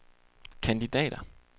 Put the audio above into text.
kandidater